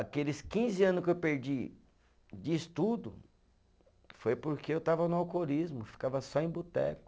Aqueles quinze anos que eu perdi de estudo, foi porque eu estava no alcoolismo, ficava só em boteco.